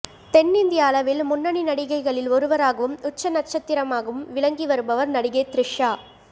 தென்னிந்திய அளவில் முன்னணி நடிகைகளில் ஒருவராகவும் உச்ச நட்சத்திரமாகவும் விளங்கி வருபவர் நடிகை த்ரிஷா